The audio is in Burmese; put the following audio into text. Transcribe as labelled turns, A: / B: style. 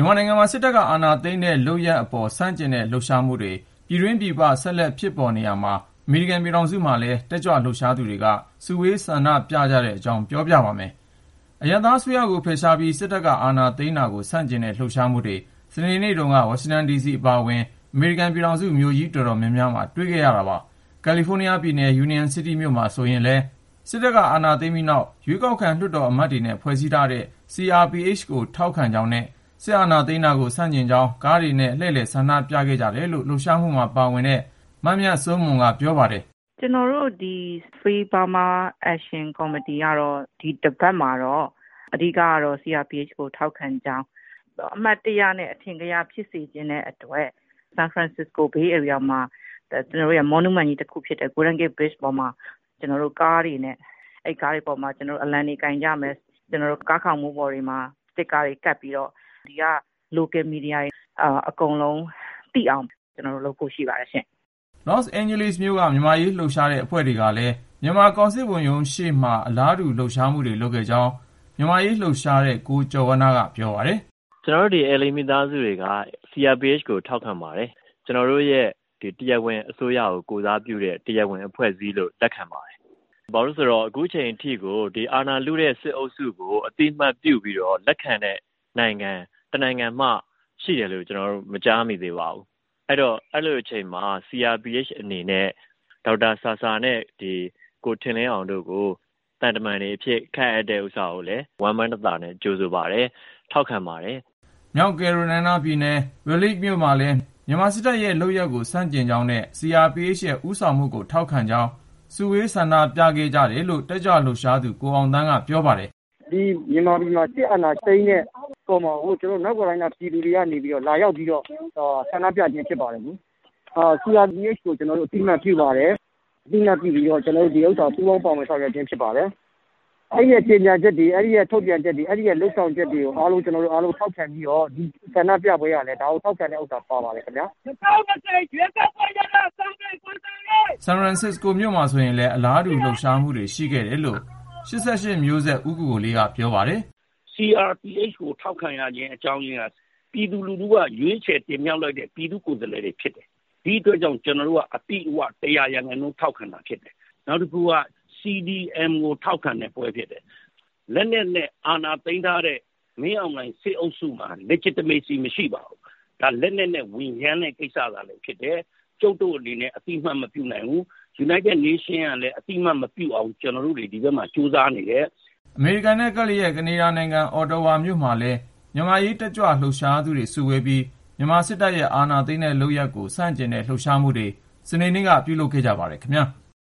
A: န်မာနိုင်ငံမှာ စစ်တပ်က အာဏာသိမ်းတဲ့လုပ်ရပ်အပေါ် ဆန့်ကျင်တဲ့ လှုပ်ရှားမှုတွေ ပြည်တွင်းပြည်ပ ဆက်လက် ပေါ်ပေါက်နေရာမှာ အမေရိကန် ပြည်ထောင်စုမှာလည်း တက်ကြွလှုပ်ရှားသူတွေ စုဝေးဆန္ဒပြခဲ့ကြတဲ့အကြောင်း ကိုဉာဏ်ဝင်းအောင် စုစည်းတင်ပြထားပါတယ်။ အရပ်သားအစိုးရကို ဖယ်ရှားပြီး စစ်တပ်ကအာဏာသိမ်းတာကို ဆန့်ကျင်တဲ့ လှုပ်ရှားမှုတွေ စနေနေ့တုန်းက ဝါရှင်တန်ဒီစီ အပါအဝင် အမေရိကန် ပြည်ထောင်စု မြို့ကြီးတော်တော်များများမှာ တွေ့ခဲ့ရတာပါ။ ကယ်လီဖိုးနီးယားပြည်နယ် Union City မြို့မှာ ဆိုရင်လည်း စစ်တပ်က အာဏာသိမ်းလိုက်ပြီးနောက် ရွေးကောက်ခံ လွှတ်တော်အမတ်တွေနဲ့ ဖွဲ့စည်းလိုက်တဲ့ CRPH ကို ထောက်ခံကြောင်းနဲ့ စစ်အာဏာသိမ်းတာကို ဆန့်ကျင်ကြောင်း ကားတွေနဲ့ လှည့်လည်ဆန္ဒပြခဲ့ကြတယ်လို့ လှုပ်ရှားမှုမှာ ပါဝင်သူတဦးဖြစ်တဲ့ မမြတ်စိုးမွန်ကပြောပါတယ်။
B: " ကျနော်တို့ဒီ Free Burma Action Committee ကတော့ ဒီတပတ်မှာ အဓိကတော့ CRPH ကို ထောက်ခံကြောင်း အမှတ်တရနဲ့ အထင်ကရ ဖြစ်စေချင်တဲ့အတွက် ဆန်ဖရန်စစ္စကို ဘေးဧရိယာမှာ ထင်ရှားတဲ့ Golden Gate တံတားပေါ်မှာ ကားတွေနဲ့ ၊ အဲဒီကားတွေပေါ်မှာ အလံတွေ ကိုင်ကြမယ်။ ကားခေါင်မိုးတွေပေါ်မှာ စတစ်ကာတွေ ကပ်ပြီးတော့ ဒီက ဒေသခံ မီဒီယာတွေ အကုန်လုံးသိအောင် ကျနော်တို့လုပ်ကြပါတယ်။ " လေ
A: ာ့စ်အိန်းဂျလိ LA မြို့က မြန်မာအရေးလှုပ်ရှားတဲ့အဖွဲ့ တွေကလည်း မြန်မာကောင်စစ်ဝန်ရုံးရှေ့မှာလည်း အလားတူ လှုပ်ရှားမှုတွေ လုပ်ခဲ့ကြောင်း မြန်မာ့အရေးလှုပ်ရှားသူ ကိုကျော်ဝဏ္ဏက ပြောပါတယ်
C: ။ " ကျနော်တို့ ဒီ LA မိသားစုတွေက CRPH ကိုထောက်ခံပါတယ်။ ကျနော်တို့ရဲ့ တရားဝင်အစိုးရကို ကိုယ်စားပြုတဲ့ တရားဝင်အဖွဲ့အစည်းလို့ပဲ လက်ခံပါတယ်။ ဘာလို့လည်းဆိုတော့ ခုချိန်ထိကို အာဏာလုတဲ့ စစ်အုပ်စုကို အသိမှတ်ပြုပြီးတော့ လက်ခံတဲ့နိုင်ငံ တနိုင်ငံမှ ရှိတယ်လို့ ကျနော်တို့ မကြားမိသေးပါဘူး။ အဲလိုအချိန်မှာ CRPH အနေနဲ့ ဒေါက်တာဆာဆာနဲ့ ကိုထင်လင်းအောင်တို့ကို သံတမန်တွေအဖြစ် ခန့်အပ်တဲ့ဥစ္စာကိုလည်း ဝမ်းပန်းတသာနဲ့ ကြိုဆို ထောက်ခံပါတယ်
A: ။ " မြောက်ကယ်ရိုလိုင်းနားပြည်နယ် Raleigh မြို့မှာလည်း မြန်မာစစ်တပ်ရဲ့ လုပ်ရပ်ကို ဆန့်ကျင်ကြောင်းနဲ့ CRPH ရဲ့ ဦးဆောင်မှုကို ထောက်ခံကြောင်း စုဝေးဆန္ဒပြခဲ့ကြတယ်လို့ တက်ကြွလှုပ်ရှားသူ ကိုအောင်သန်းက ပြောပါတယ်
D: ။ " မြန်မာပြည်မှာ စစ်အာဏာသိမ်းထားတဲ့ဟာကို ကျနော်တို့ မြောက်ကယ်ရိုလိုင်းနားမှာ နေတဲ့ မြန်မာပြည်သူတွေက လာရောက် ဆန္ဒပြခြင်းဖြစ်ပါတယ်။ CRPH ကို ကျနော်တို့ အသိအမှတ်ပြုပါတယ်။ CRPH ကထုတ်တဲ့ ကြေညာချက်တွေ သူတို့ရဲ့ လုပ်ဆောင်ချက်တွေ အားလုံးကိုလည်း ထောက်ခံပြီး မြန်မာပြည်သူတွေနဲ့ တသားထဲ ကျနော်တို့ ပူးပေါင်းပါဝင် ဆောင်ရွက်န
E: ေပါတယ်။ "
A: ဆန်ဖရန်စစ္စကိုမြို့မှာ ဆိုရင်လည်း အလားတူ လှုပ်ရှားမှုတွေ ရှိခဲ့တယ်လို့ ၈၈ မျိုးဆက် ဦးကိုကိုလေးကပြောပါတယ်။
E: " CRPH ကိုထောက်ခံရခြင်း အကြောင်းရင်းက ပြည်သူလူထုက ရွေးချယ်တင်မြှောက်လိုက်တဲ့ ပြည်သူ့ကိုယ်စားလှယ်တွေ ဖြစ်တယ်။ ဒီအတွက်ကြောင့် ကျနော်တို့က ၁၀၀% အပြည့်အဝ ထောက်ခံတာဖြစ်တယ်။ နောက်တခုက CDM ကို ကျနော်တို့ ထောက်ခံတဲ့ပွဲလည်းဖြစ်တယ်။ လက်နက်နဲ့ အာဏာသိမ်းထားတဲ့ မင်းအောင်လှိုင်စစ်အုပ်စုမှာ တရားဝင်မှု Legitimacy မရှိပါဘူး။ ဒါက လက်နက်နဲ့ ဝင်ရမ်းတဲ့ကိစ္စသာလျှင်ဖြစ်တယ်။ ကျုပ်တို့ အနေနဲ့ အသိအမှတ် မပြုနိုင်ဘူး။ ကုလသမဂ္ဂ ကလည်း အသိအမှတ်မပြုအောင် ကျနော်တို့တွေ ဒီဘက်မှာ ကြိုးစားနေပါတယ်။
A: " အမေရိကန်နဲ့ ကပ်လျက် ကနေဒါနိုင်ငံ Ottawa မြို့မှာလည်း မြန်မာ့အရေး တက်ကြွလှုပ်ရှားသူတွေ စုဝေးပြီး မြန်မာစစ်တပ်ရဲ့ အာဏာသိမ်းတဲ့လုပ်ရပ်ကို ဆန့်ကျင်တဲ့ လှုပ်ရှားမှုတွေ စနေနေ့က ပြုလုပ်ခဲ့ကြပါတယ်ခင်ဗျာ။